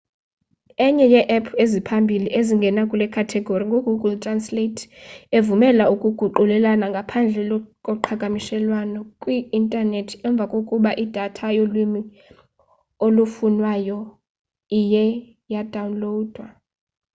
enye yee-app eziphambili ezingena kule khategori ngu-google translate evumela ukuguqulela ngaphandle koqhagamshelwano kwi-intanethi emva kokuba idatha yolwimi olufunwayo iye yadawunlowudwa